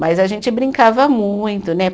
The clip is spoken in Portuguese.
Mas a gente brincava muito, né?